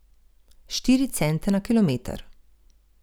Štiri cente na kilometer.